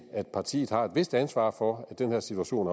at partiet har et vist ansvar for at den her situation